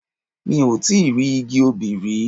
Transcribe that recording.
Mo ti rí igi obì rí.